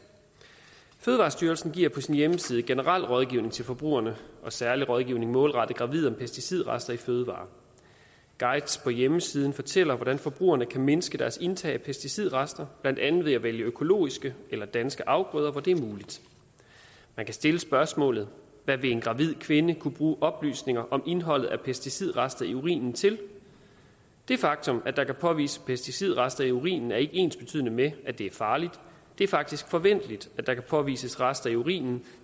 fødevarestyrelsen giver på sin hjemmeside generel rådgivning til forbrugerne og særlig rådgivning målrettet gravide om pesticidrester i fødevarer guider på hjemmesiden fortæller hvordan forbrugerne kan mindske deres indtag af pesticidrester blandt andet ved at vælge økologiske eller danske afgrøder hvor det er muligt man kan stille spørgsmålet hvad vil en gravid kvinde kunne bruge oplysninger om indholdet af pesticidrester i urinen til det faktum at der kan påvises pesticidrester i urinen er ikke ensbetydende med at det er farligt det er faktisk forventeligt at der kan påvises rester i urinen